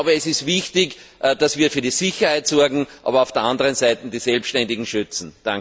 Es ist wichtig, dass wir für die Sicherheit sorgen, aber auf der anderen Seite die Selbständigen schützen!